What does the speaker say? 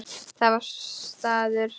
Það var staður.